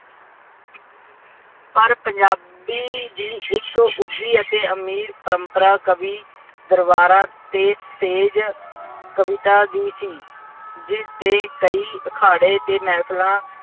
ਪਰ ਪੰਜਾਬੀ ਦੀ ਇੱਕ ਉੱਘੀ ਅਤੇ ਅਮੀਰ ਪ੍ਰੰਪਰਾ ਕਵੀ ਦਰਬਾਰਾ ਤੇਜ਼ ਤੇਜ਼ ਕਵਿਤਾ ਦੀ ਸੀ। ਜਿਸਦੇ ਕਈ ਅਖਾੜੇ ਅਤੇ ਮਹਿਫਲਾਂ